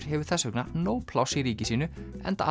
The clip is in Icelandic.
hefur þess vegna nóg pláss í ríki sínu enda